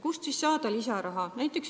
Kust saada lisaraha?